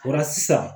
O la sisan